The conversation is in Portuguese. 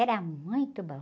Era muito bom.